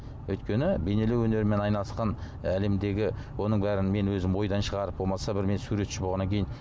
өйткені бейнелеу өнерімен айналысқан әлемдегі оның бәрін мен өзім ойдан шығарып болмаса бір мен суретші болғаннан кейін